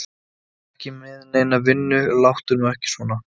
Þú ert ekki með neina vinnu, láttu nú ekki svona.